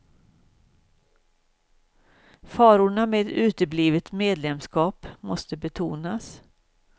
Farorna med ett uteblivet medlemskap måste betonas.